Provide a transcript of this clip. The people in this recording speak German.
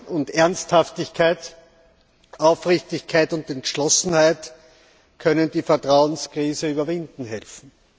Und Ernsthaftigkeit, Aufrichtigkeit und Entschlossenheit können die Vertrauenskrise überwinden helfen.